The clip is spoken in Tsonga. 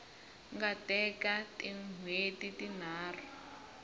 nga teka tin hweti tinharhu